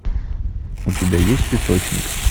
у тебя есть песочник